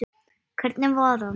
Hvernig var hann?